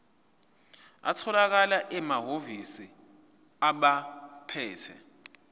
atholakala emahhovisi abaphethe